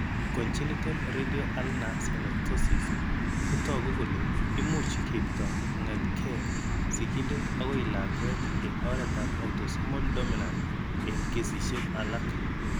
Congenital radio ulnar synostosis ko toku kole imuch keipto kong'etke sigindet akoi lakwet eng' oretab autosomal dominant eng' kesishek alak.